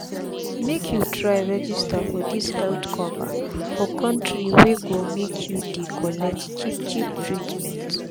make u try register for dis health cover for d countri wey go make u dey collect cheap cheap treatment